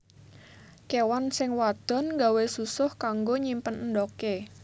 Kéwan sing wadon nggawé susuh kanggo nyimpen endhogé